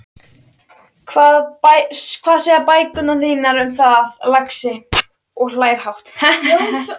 Hvað segja bækurnar þínar um það, lagsi? og hlær hátt.